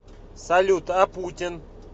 салют а путин